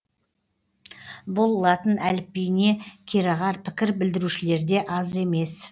бұл латын әліпбиіне кереғар пікір білдірушілерде аз емес